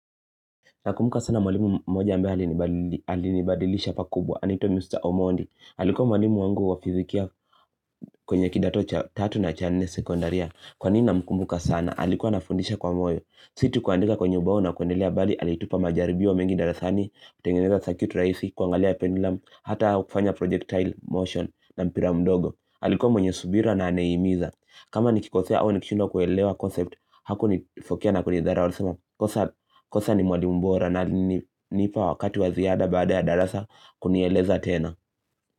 Nakumbuka sana mwalimu moja ambaye alinibadilisha pakubwa. Anaitwa Mr. Omondi. Alikuwa mwalimu wangu wa fizikia kwenye kidato cha 3 na cha 4 sekondaria. Kwa nini namkumbuka sana? Alikuwa anafundisha kwa moyo. Si tu kuandika kwenye ubao na kuendelea bali. Alitupa majaribio mengi dara sani. Kutengeneza circuit rahisi. Kuangalia pendulam. Hata kufanya projectile motion na mpira mdogo. Alikuwa mwenye subira na anayehimiza. Kama nikikosea au nikishindwa kuelewa concept. Hakunifokea na kunidharau. Kosa ni mwalimu bora na nipa wakati wa ziada baada ya darasa kunieleza tena.